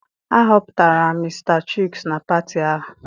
A họpụtara Mr Chuks na pati ahụ?